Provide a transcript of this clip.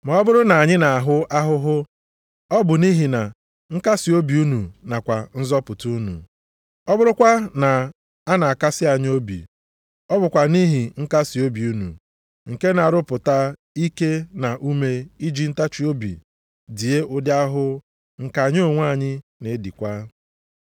Ma ọ bụrụ na anyị na-ahụ ahụhụ, ọ bụ nʼihi na nkasiobi unu, nakwa nzọpụta unu. Ọ bụrụkwa na a na-akasị anyị obi, ọ bụkwa nʼihi nkasiobi unu, nke na-arụpụta ike na ume iji ntachiobi die ụdị ahụhụ nke anyị onwe anyị na-edikwa.